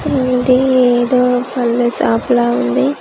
ఇది ఏదో పండ్ల షాప్ లా ఉంది .